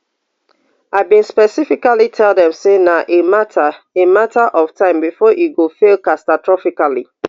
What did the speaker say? i bin specifically tell dem say na a mata a mata of time before e go fail catastrophically